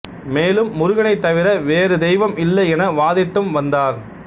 மேலும் முருகனைத் தவிர வேறு தெய்வம் இல்லை என வாதிட்டும் வந்தார்